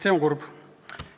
See on kurb.